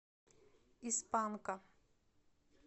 из панка